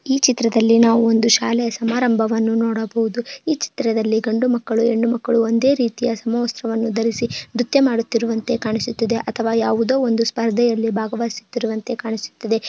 E ಚಿತ್ತ್ರದಲ್ಲಿ ನಾವು ಒಂದು ಶಾಲೆಯ ಸಮಾರಂಭವನ್ನು ನೋಡಬಹುದು. ಈ ಚಿತ್ತ್ರದಲ್ಲಿ ಗಂಡು ಮಕ್ಕಳ್ಳು ಹೆಣ್ಣುಮಕ್ಕಳು ಒಂದೇ ರೀತಿಯ ಸಮವಸ್ತ್ರವನ್ನು ಧರಿಸಿ ನೃತ್ಯ ಮಾಡುತ್ತಿರುವಂತೆ ಕಾಣ್ಣಿಸುತಿದೆ ಅಥವಾ ಯಾವುದೊ ಒಂದು ಸ್ಪರ್ಧೆಯಲ್ಲಿ ಭಾಗವಹಿಸುತ್ತಿರುವಂತ್ತೆ ಕಾಣಿಸುತ್ತಿದೆ.